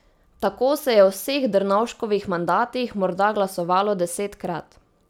Tako se je v vseh Drnovškovih mandatih morda glasovalo desetkrat.